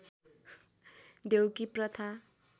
देउकी प्रथा